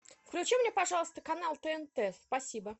включи мне пожалуйста канал тнт спасибо